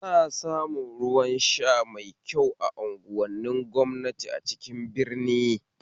Ana samun ruwan sha mai kyau a unguwanin gwamnati a cikin birni